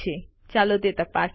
ચાલો તે તપાસીએ